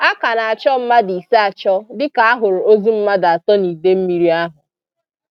A ka na-achọ mmadụ ise achọ dịka a hụrụ ozu mmadụ atọ n'Idemmiri ahụ